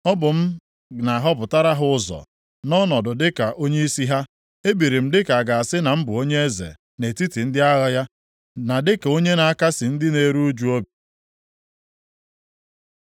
Ọ bụ m na-ahọpụtara ha ụzọ, na-anọdụ dịka onyeisi ha; ebiri m dịka a ga-asị na m bụ onye eze nʼetiti ndị agha ya; na dịka onye na-akasị ndị na-eru ụjụ obi.